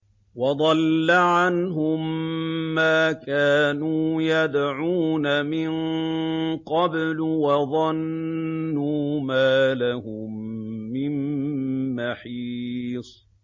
وَضَلَّ عَنْهُم مَّا كَانُوا يَدْعُونَ مِن قَبْلُ ۖ وَظَنُّوا مَا لَهُم مِّن مَّحِيصٍ